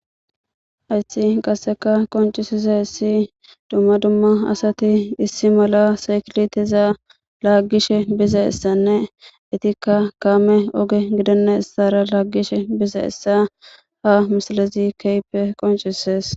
hayssi qasseka qoncisizays dumma dumma asati issi mala sakileteza laaggishe biza essanne itikka kaame oge gidenna issara laaggishe biza essa ha misilezi kehippe qoncisees